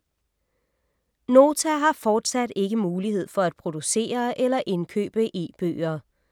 Nota har fortsat ikke mulighed for at producere eller indkøbe e-bøger.